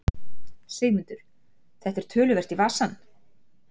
Sigmundur: Þetta er töluvert í vasann?